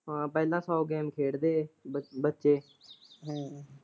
ਹਾਂ ਪਹਿਲਾਂ ਸੋ ਗੇਮ ਖੇਡਦੇ ਹੇ ਬ ਬੱਚੇ।